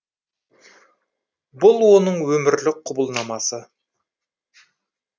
бұл оның өмірлік құбылнамасы